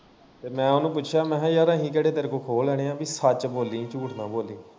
ਤੇ ਮੈਂ ਉਨੂੰ ਪੁੱਛਿਆ ਮੈਂ ਕਿਹਾ ਯਾਰ ਅਹੀ ਕਿਹੜਾ ਤੇਰੇ ਕੋਲੋਂ ਖੋ ਲੈਣੇ ਆ ਪੀ ਸੱਚ ਬੋਲੀ ਝੂਠ ਨਾ ਬੋਲੀ।